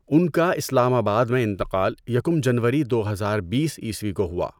ان کا اسلام آباد میں انتقال یکم جنوری دو ہزار بیس عیسوی کو ہوا۔